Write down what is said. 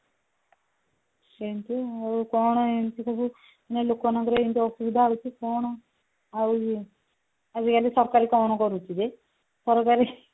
ସେଇନ୍ତି ଆଉ କଣ ଏଇନ୍ତି ସବୁ ମାନେ ଲୋକମାନଙ୍କର ଏମିତି ସବୁ ଅସୁବିଧା ହଉଛି କଣ ଆଉ ଆଜିକାଲି ସରକାର କଣ କରୁଛି ଯେ ସରକାର